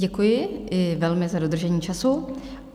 Děkuji velmi, i za dodržení času.